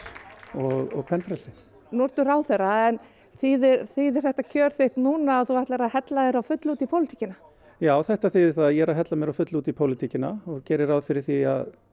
og kvenfrelsi nú ertu ráðherra en þýðir þýðir þetta kjör þitt núna að þú ætlir að hella þér á fullu út í pólitíkina já þetta þýðir það að ég er að hella mér á fullu út í pólitíkina og geri ráð fyrir því að